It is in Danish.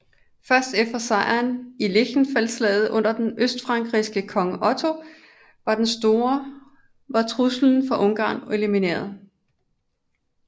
Først efter sejren i Lechfeldslaget under den østfrankiske konge Otto den Store var truslen fra Ungarn elimineret